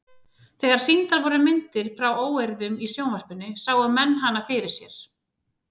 Þegar sýndar voru myndir frá óeirðum í sjónvarpinu sáu menn hana fyrir sér.